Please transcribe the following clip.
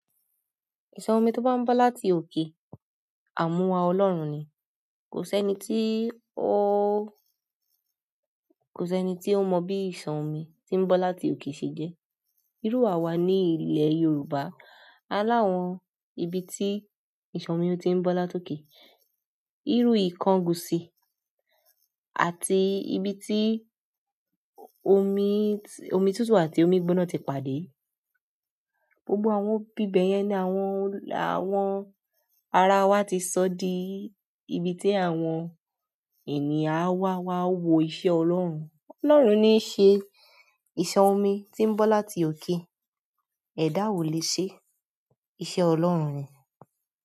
Omi to ba n bo láti oke, amuwa ọlọ́run ni kò sẹ́ni tí ó, kò sẹ́ni tí ó mọ bí ìsọ̀ omi tí ń bọ láti òkè ṣe jẹ́. Írú àwa ní ilẹ̀ Yorùbá aláwọ́n ibi tí ìsọ̀ omi ti ń bọ láti òkè, irú ìkángun sí, àti ibi tí omi, omi tútù àti omi gbọ́ná ti pàdé. Gbogbo àwọn ibíbẹ yẹn ni àwọn, àwọn ara wa ti sọ di ibi tí àwọn ènìyàn á wá wá wo iṣẹ́ Ọlọ́run. Ọlọ́run ni í ṣe ìsọ̀ omi tí ń bọ láti òkè, ẹ̀dá o lè ṣe iṣẹ́ Ọlọ́run ni.